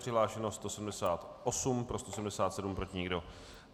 Přihlášeno 178, pro 177, proti nikdo.